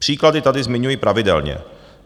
Příklady tady zmiňuji pravidelně.